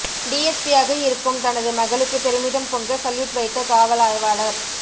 டிஎஸ்பியாக இருக்கும் தனது மகளுக்கு பெருமிதம் பொங்க சல்யூட் வைத்த காவல் ஆய்வாளர்